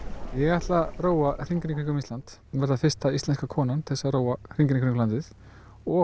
ég ætla að róa hringinn í kringum Ísland og verða fyrsta íslenska konan til að róa hringinn í kringum ísland og